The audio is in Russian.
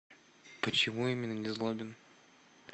почему именно незлобин